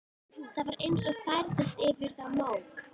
Það var eins og færðist yfir þá mók.